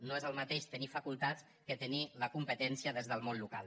no és el mateix tenir facultats que tenir la competència des del món local